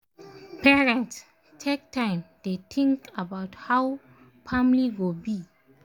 parents take time dey think about how family go be